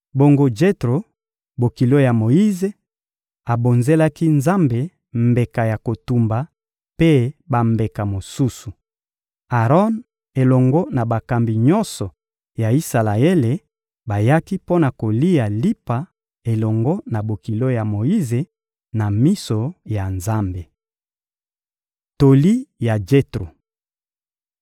Bongo Jetro, bokilo ya Moyize, abonzelaki Nzambe mbeka ya kotumba mpe bambeka mosusu. Aron elongo na bakambi nyonso ya Isalaele bayaki mpo na kolia lipa elongo na bokilo ya Moyize, na miso ya Nzambe. Toli ya Jetro